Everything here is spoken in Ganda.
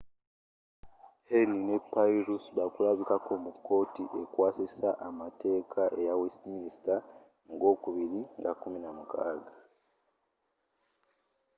huhne ne pryce bakulabirako mu kkooti ekwasisa amateeka eya westminster mu gwokubiri nga 16